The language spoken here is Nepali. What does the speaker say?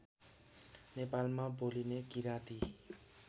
नेपालमा बोलिने किराँती